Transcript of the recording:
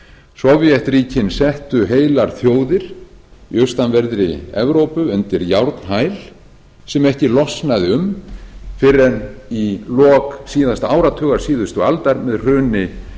sovétríkin settu heilar þjóðir í austanverðri evrópu undir járnhæl sem ekki losnaði um fyrr en í lok síðasta áratugar síðustu aldar með hruni